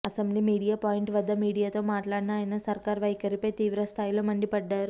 assembly media point వద్ద మీడియాతో మాట్లాడిన ఆయన సర్కారు వైఖరిపై తీవ్ర స్థాయిలో మండిపడ్డారు